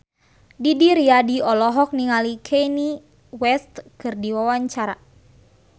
Didi Riyadi olohok ningali Kanye West keur diwawancara